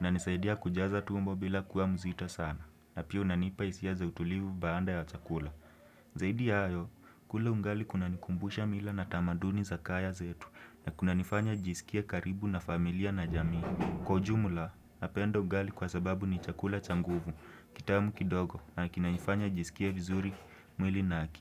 inanisaidia kujaza tumbo bila kuwa mzito sana. Napia unanipa hisia za utulivu baada ya chakula. Zaidi ya hayo, kula ugali kunanikumbusha mila na tamaduni za kaya zetu na kunanifanya nijisikie karibu na familia na jamii. Kwa ujumla napenda ugali kwa sababu ni chakula cha nguvu, kitamu kidogo na kinanifanya nijisikie vizuri mwili na akili.